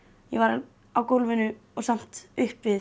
ég var á gólfinu og samt upp við